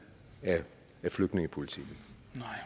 af flygtningepolitikken